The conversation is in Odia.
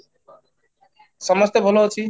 ସମସ୍ତେ ଭଲ ଅଛି